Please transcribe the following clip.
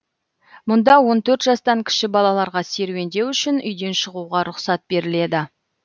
мұнда он төрт жастан кіші балаларға серуендеу үшін үйден шығуға рұқсат беріледі